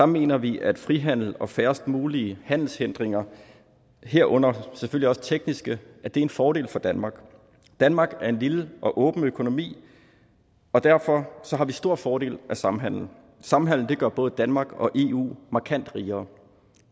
mener vi at frihandel og færrest mulige handelshindringer herunder selvfølgelig også tekniske er en fordel for danmark danmark er en lille og åben økonomi og derfor har vi store fordele af samhandel samhandelen gør både danmark og eu markant rigere